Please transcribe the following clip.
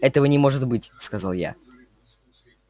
этого не может быть сказал я